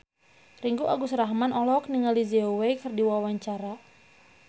Ringgo Agus Rahman olohok ningali Zhao Wei keur diwawancara